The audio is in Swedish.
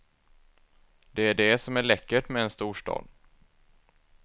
Det är det som är läckert med en storstad.